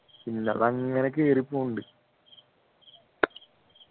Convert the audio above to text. അതങ്ങനെ കേറി പോണ്ട്